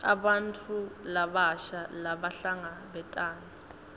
bantfu labasha labahlangabetana